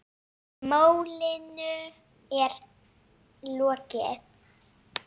Málinu er lokið.